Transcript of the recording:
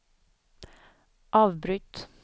avbryt